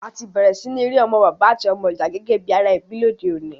A ti bẹ̀rẹ̀ si ni ri àwon ọmọ bàbá àti ọmọ ìyà gẹ́gẹ́ bi ara ebí lodeọ̀ní